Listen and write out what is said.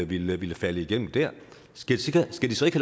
ville ville falde igennem der skal de så ikke